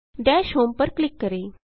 दश होम पर क्लिक करें